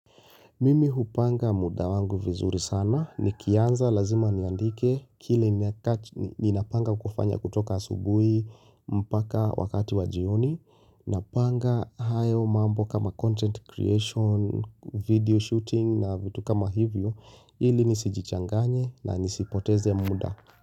Mimi hupanga muda wangu vizuri sana. Nikianza lazima niandike kile ninapanga kufanya kutoka asubuhi mpaka wakati wa jioni Napanga hayo mambo kama content creation, video shooting na vitu kama hivyo ili nisijichanganye na nisipoteze muda.